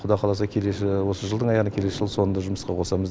құдай қаласа келесі осы жылдың аяғында келесі жылдың соңында жұмысқа қосамыз